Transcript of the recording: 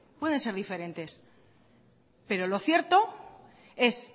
pueden ser diferentes pero lo cierto es